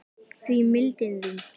því mildin þín